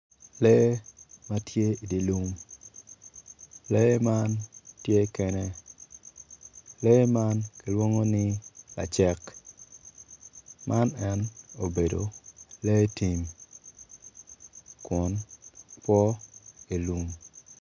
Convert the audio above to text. Lee matye idye lum lee man tye kene lee man gileongo ni lacek man en obedo lee tim kun po ilum